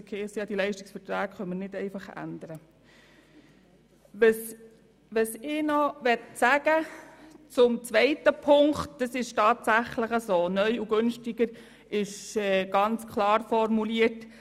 Zur zweiten Ziffer: Es ist natürlich gemeint, dass die Leistungen nach Möglichkeit kostengünstiger erbracht werden sollen.